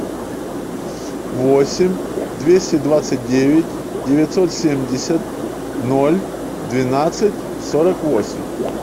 восемь двести двадцать девять девятьсот семьдесят ноль двенадцать сорок восемь